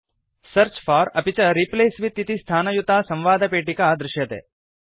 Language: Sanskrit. सेऽर्च फोर अपि च रिप्लेस विथ इति स्थानयुता संवादपेटिका दृश्यते